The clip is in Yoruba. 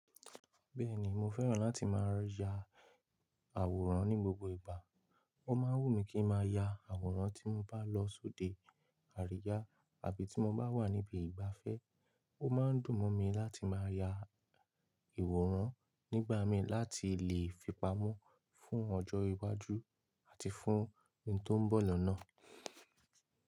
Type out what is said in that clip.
Bẹ́ẹ̀ni mo fẹ́ràn láti máa ya àwòrán ní gbogbo ìgbà. Ó máa ń wù mí kí n máa ya àwòrán tí mo bá lọ sóde àríyá àbí tí mo bá wà níbi ìgbafẹ́. Ó máa ń dùn mọ́ mi láti máa ya ìwòrán nígbà mi láti lè fipamọ́ fún ọjọ́ iwájú àti fún ohun tó ń bọ̀ lọ́nà.